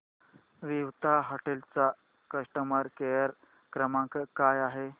Vivanta hotel चा customer care क्रमांक काय आहे